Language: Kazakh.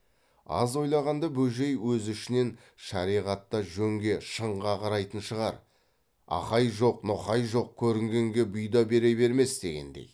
аз ойлағанда бөжей өз ішінен шариғат та жөнге шынға қарайтын шығар ақай жоқ ноқай жоқ көрінгенге бұйда бере бермес дегендей